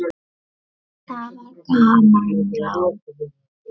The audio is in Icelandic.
Það var gaman þá.